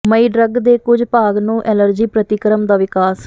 ਮਈ drug ਦੇ ਕੁਝ ਭਾਗ ਨੂੰ ਐਲਰਜੀ ਪ੍ਰਤੀਕਰਮ ਦਾ ਵਿਕਾਸ